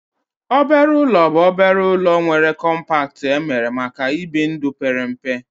Obere ụlọ bụ obere ụlọ nwere kọmpat emere maka ibi ndụ pere mpe